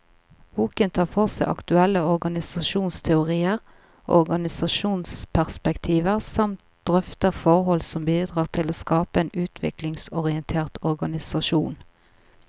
Boken tar for seg aktuelle organisasjonsteorier og organisasjonsperspektiver, samt drøfter forhold som bidrar til å skape en utviklingsorientert organisasjon.